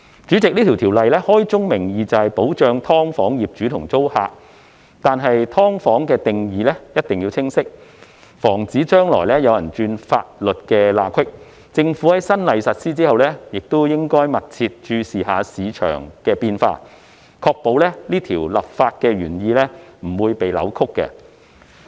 主席，這項法例開宗明義，就是保障"劏房"業主和租客，但"劏房"的定義必須清晰，以防止將來有人鑽法律空子；政府在新例實施後，亦應密切注意市場變化，確保立法原意不被扭曲。